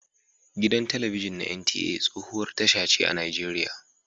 Gidan talabijin na NTA tsohuwar tasha ce a nigeriya.